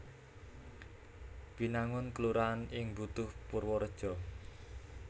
Binangun kelurahan ing Butuh Purwareja